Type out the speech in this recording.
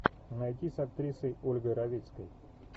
найти с актрисой ольгой равицкой